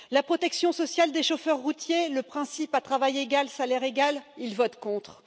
la protection sociale des chauffeurs routiers, le principe à travail égal, salaire égal, ils votent contre